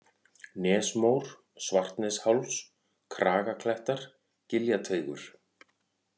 Nesmór, Svartnesháls, Kragaklettar, Giljateigur